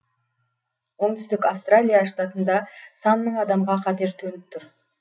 оңтүстік австралия штатында сан мың адамға қатер төніп тұр